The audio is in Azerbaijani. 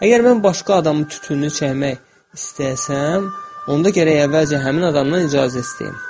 Əgər mən başqa adamı tütününü çəkmək istəyərsəm, onda gərək əvvəlcə həmin adamdan icazə istəyim.